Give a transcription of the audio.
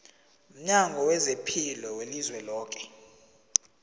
mnyango wezaphilo welizweloke